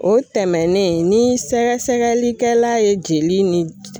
O tɛmɛnen ni sɛgɛsɛgɛlikɛla ye jeli ni j